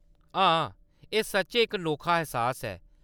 हां, एह्‌‌ सच्चैं इक नोखा ऐह्‌सास ऐ।